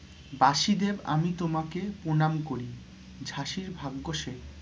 বাশিদেব আমি তোমাকে প্রণাম করি ঝাঁসির ভাগ্য সে